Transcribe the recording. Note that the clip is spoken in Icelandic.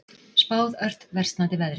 Spáð ört versnandi veðri